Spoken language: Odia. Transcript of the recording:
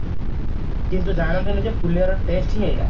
କିନ୍ତୁ ଜାଣନ୍ତିନି ଯେ ପୁଲିଆରମ ର taste ହି ଏଇଆ